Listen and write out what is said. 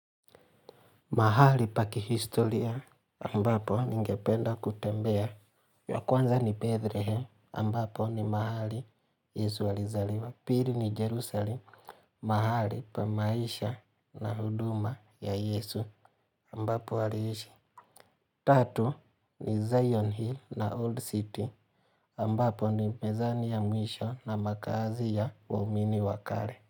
Mahali pa kihistoria ambapo ningependa kutembea. Ya kwanza ni Bethlehem ambapo ni mahali Yesu alizaliwa. Pili ni Jerusalem, mahali pa maisha na huduma ya Yesu ambapo aliishi. Tatu ni Zion Hill na Old City ambapo ni mezani ya mwisho na makazi ya uamini wa kare.